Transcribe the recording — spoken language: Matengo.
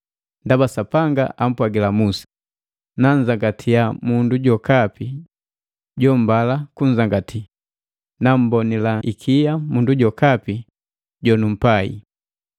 Ndaba Sapanga ampwagila Musa, “Nanzangatia mundu jokapi jombala kunzangati, nammbonila ikia mundu jokapi jonumpai.”